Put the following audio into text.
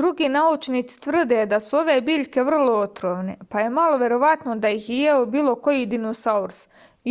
други научници тврде да су ове биљке врло отровне па је мало вероватно да их је јео било који диносаурус